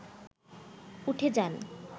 উঠে যান